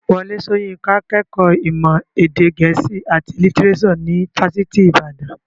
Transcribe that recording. Wọlé Soyinka kẹ́kọ̀ọ́ ìmọ̀ èdè gẹ̀ẹ́sì àti lítírésò ní fásitì ìbàdàn.